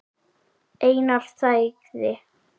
Einar þagði.